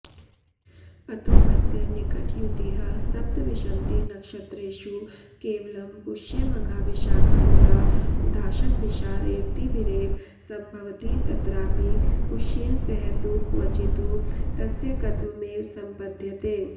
अतोऽस्य निकटयुतिः सप्तविंशतिनक्षत्रेषु केवलं पुष्यमघाविशाखानुराधाशतभिषारेवतीभिरेव सम्भवति तत्रापि पुष्येन सह तु क्वचित्तु तस्यैकत्वमेव सम्पद्यते